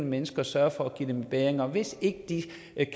menneske og sørge for at give dem bedring og hvis ikke de